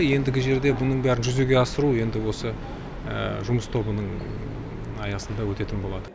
ендігі жерде бұның бәрін жүзеге асыру енді осы жұмыс тобының аясында өтетін болады